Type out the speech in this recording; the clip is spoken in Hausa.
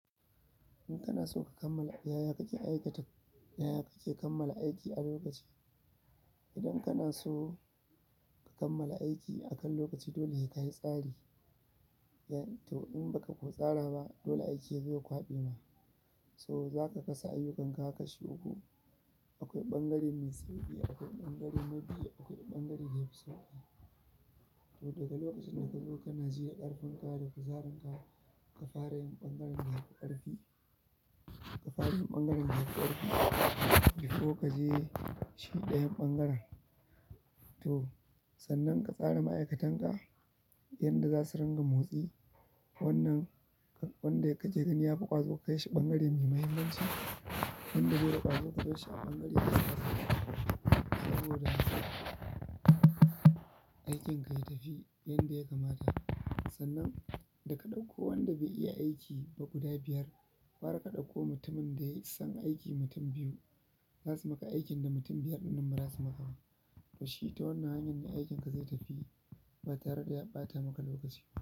In kanaso ka kammala, yaya aikata yaya kake kammala aiki a lokacin idan kana so ka kammala aiki akan lokaci, dole sai kayi tsari. To in baka ko tsara ba, dole aiki yazo ya kwaɓe ma. So zaka kasa ayyukanka kashi uku. Akwai ɓangare mai sauƙi, akwai ɓangare na biyu, akwai ɓangare da yafi sauƙi. To daga lokacin da ka zo kana ji ƙarfin ka da ƙasaranka ka fara yin ɓangaren da yafi ƙarfi, ka fara yin ɓangaren da yafi ƙarfi, before kaje shi ɗayan ɓangaren. To sannan ka tsara ma'aikatan ka yanda za su ringa motsi. Wannan, wanda kake gani yafi ƙwazo ka kaishi ɓangare mai mahimmanci. Wanda baida ƙwazo ka barshi a ɓangare na ƙasa. Saboda haka aikinka ya tafi yanda ya kamata. Sannan daka ɗauko wanda bai iya aiki ba guda biyar, gwara ka ɗauko mutumin da ya san aiki mutum biyu zasu maka aikin da mutum biyar ɗin nan ba zasu maka ba. To shi ta wanna hanyar ne aikinka zai tafi ba tare da ya ɓata maka lokaci ba.